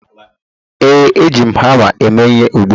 Ee, Eji m hama eme ihe ugbu a